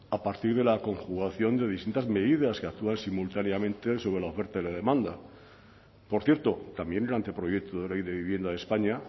a partir de la conjugación de distintas medidas que actúan simultáneamente sobre la oferta y la demanda por cierto también el anteproyecto de ley de vivienda de españa